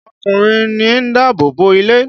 Ọkùnrin ní ń dáàbò bo ilé.